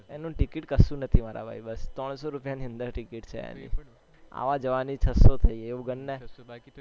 અનો ticket કશું નથી મારા ભાઈ બસ ત્રણ શો રૂપિયાની અંદર ticket છે એની આવા જવાની છ સો થહી એમ ગણને